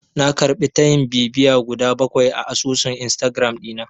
Na karɓi tayin bibiya guda bakwai a asusun Instagiram ɗina.